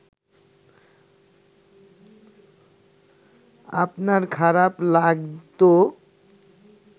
আপনার খারাপ লাগতো